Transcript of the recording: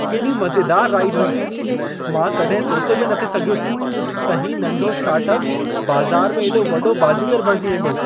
केॾी मज़ेदार राइड हुई! मां कॾहिं सोचे बि नथे सघियुसि त हीउ नंढो स्टार्टअप बाज़ार में एॾो वॾो बाज़ीगर बणिजी वेंदो।